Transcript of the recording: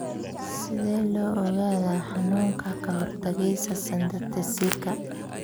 Sidee loo ogaadaa xanuunka kahortagesa synthetaseka ?